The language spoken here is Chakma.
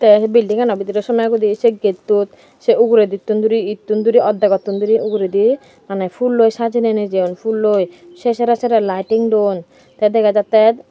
tey ey belding ano bidirey somegoide sey gettot sey uguredittun duri ettun duri awddekgottun duri uguredi mane pulloi sajeney nejeyon pulloi sey sere sere laeting don tey dega jattey.